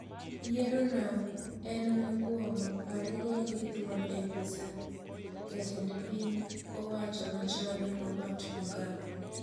Yiero no en mokwongo aare gol gi thuon e apis jatend piny owacho machon Robert Mugabe